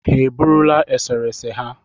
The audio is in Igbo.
Ha e burula esere ese ha?